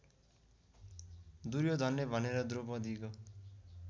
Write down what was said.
दुर्योधनले भनेर द्रौपदीको